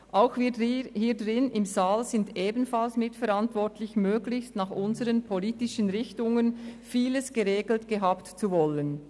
Auch die im Saal Anwesenden sind für die zunehmende Regulierung mitverantwortlich, indem sie gemäss ihrer politischen Ausrichtung möglichst vieles in ihrem Sinn geregelt haben wollen.